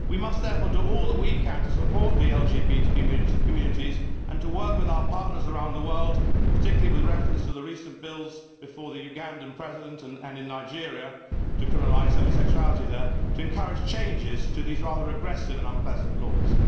We must therefore do all that we can to support the LGBT communities and to work with our partners around the world, particularly with reference to the recent bills before the Ugandan President and in Nigeria to criminalise homosexuality there, to encourage changes to these rather regressive and unpleasant laws.